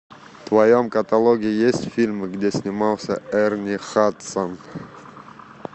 в твоем каталоге есть фильмы где снимался эрни хадсон